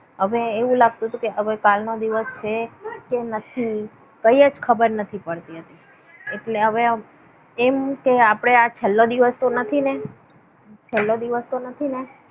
હવે એવું લાગતું હતું કે હવે કાલનો દિવસ છે નથી. કઈ જ ખબર નથી પડતી હતી. એટલે હવે એમ કે આપણે આ છેલ્લો દિવસ તો નથી ને! છેલ્લો દિવસ તો નથી ને!